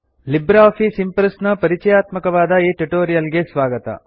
Libre Office Impress ನ ಪರಿಚಯಾತ್ಮಕವಾದ ಈ ಟ್ಯುಟೋರಿಯಲ್ ಗೆ ಸ್ವಾಗತ